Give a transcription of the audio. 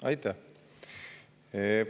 Aitäh!